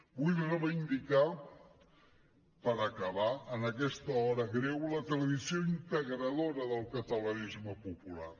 vull reivindicar per acabar en aquesta hora greu la tradició integradora del catalanisme popular